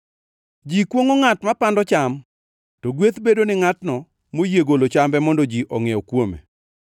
Ji kwongʼo ngʼat mapando cham, to gweth bedo ni ngʼatno moyie golo chambe mondo ji ongʼiew kuome.